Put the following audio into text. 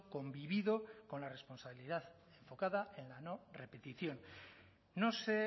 convivido con la responsabilidad enfocada en la no repetición no sé